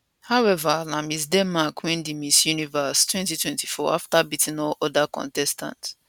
howeva na miss denmark win di miss universe 2024 afta beating all oda contestants